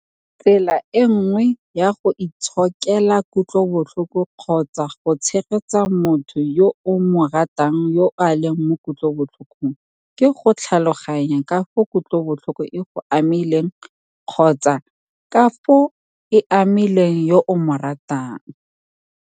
"Tsela e nngwe ya go itshokela kutlobotlhoko kgotsa go tshegetsa motho yo o mo ratang yo a leng mo kutlobotlhokong ke go tlhaloganya ka fao kutlobotlhoko e go amileng kgotsa ka fao e amileng yo o mo ratang."